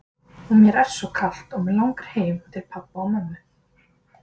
Og mér er svo kalt og mig langar heim til pabba og mömmu.